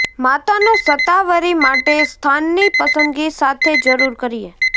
માતાનો શતાવરી માટે સ્થાન ની પસંદગી સાથે શરૂ કરીએ